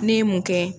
Ne ye mun kɛ